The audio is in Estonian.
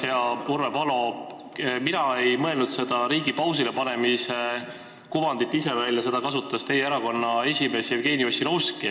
Hea Urve Palo, mina ei mõelnud seda riigi pausile panemise kujundit ise välja, seda on kasutanud teie erakonna esimees Jevgeni Ossinovski.